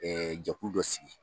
jɛkulu dɔ sigi.